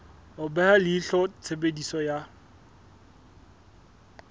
ho beha leihlo tshebediso ya